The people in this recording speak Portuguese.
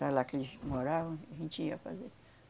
Para lá que eles moravam, a gente ia fazer.